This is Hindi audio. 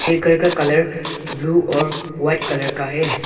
ये घर का कलर ब्लू और वाइट कलर का है।